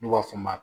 N'u b'a f'o ma